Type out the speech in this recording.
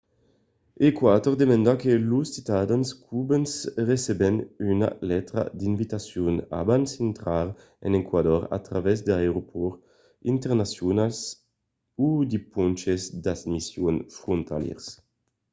eqüator demanda que los ciutadans cubans receben una letra d’invitacion abans d’intrar en eqüator a travèrs d’aeropòrts internacionals o de ponches d’admission frontalièrs